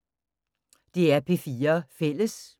DR P4 Fælles